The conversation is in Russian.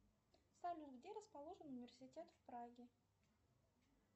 салют где расположен университет в праге